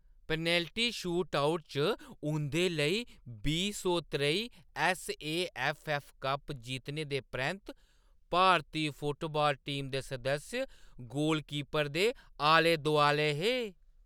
Penalty shootout च उंʼदे लेई बीह् सौ त्रेई ऐस्स.ए.ऐफ्फ.ऐफ्फ. कप जित्तने दे परैंत्त भारती फुटबाल टीम दे सदस्य गोलकीपर दे आलै-दोआलै हे।